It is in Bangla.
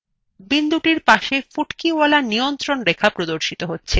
বিন্দুটির পাশে ফুটকিওয়ালা নিয়ন্ত্রণ রেখা প্রদর্শিত হচ্ছে